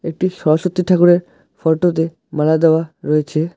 একটি সরস্বতী ঠাকুরের ফটোতে মালা দেওয়া রয়েছে।